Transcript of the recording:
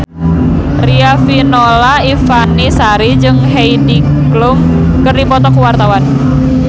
Riafinola Ifani Sari jeung Heidi Klum keur dipoto ku wartawan